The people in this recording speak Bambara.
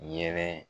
Yɛrɛ